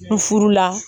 Furu la